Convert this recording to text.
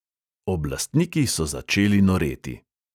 Oblastniki so začeli noreti.